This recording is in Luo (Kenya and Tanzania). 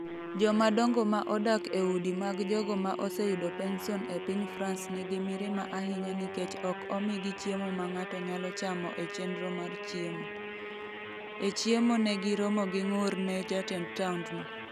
Jomadongo ma odak e udi mag jogo ma oseyudo pension e piny France nigi mirima ahinya nikech ok omigi chiemo ma ng’ato nyalo chamo e chenro mar chiemo. e chiemo ne giromo gi ng’ur ne jatend taondno.